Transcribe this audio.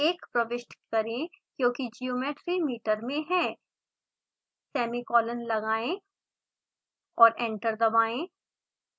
1 प्रविष्ट करें क्योंकि ज्योमेट्री मीटर में है सेमीकोलन लगाएं और एंटर दबाएं